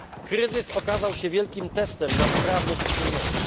Kryzys okazał się wielkim testem sprawności Wspólnoty.